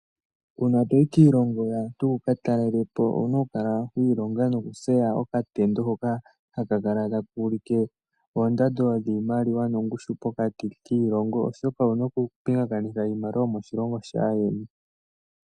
Uuna toyi kiilongo yaantu wukatalele po owuna okula wiilonga nokutseya okatendo hoka hakakala taka ulike oondando dhiimaliwa nongushu pokati kiilongo, oshoka owuna okupingakanitha iimaliwa yomoshilongo shaayeni.